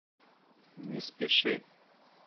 не спеши